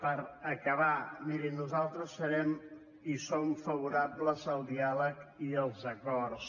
per acabar miri nosaltres serem i som favorables al diàleg i als acords